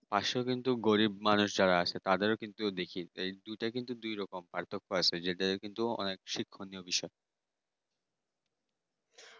পাশে কিন্তু গরিব মানুষ আছে তাদেরও কিন্তু এটাও কিন্তু দেখি যে দুইটা কিন্তু দুই রকম পার্থক্য আছে যেটা কিন্তু অনেক শিক্ষার বিষয়